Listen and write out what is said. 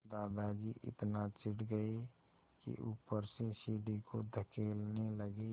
दादाजी इतना चिढ़ गए कि ऊपर से सीढ़ी को धकेलने लगे